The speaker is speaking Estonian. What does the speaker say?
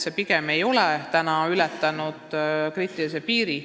See pigem ei ole täna ületanud kriitilist piiri.